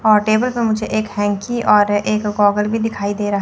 और टेबल पे मुझे एक हेंकी और एक गोगल भी दिखाई दे रहा --